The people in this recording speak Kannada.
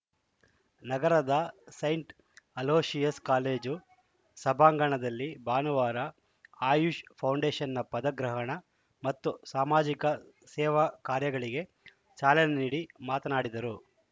ನಗರದ ಸೈಂಟ್‌ ಅಲೋಶಿಯಸ್‌ ಕಾಲೇಜು ಸಭಾಂಗಣದಲ್ಲಿ ಭಾನುವಾರ ಆಯುಷ್‌ ಫೌಂಡೇಶನ್‌ನ ಪದಗ್ರಹಣ ಮತ್ತು ಸಾಮಾಜಿಕ ಸೇವಾ ಕಾರ್ಯಗಳಿಗೆ ಚಾಲನೆ ನೀಡಿ ಮಾತನಾಡಿದರು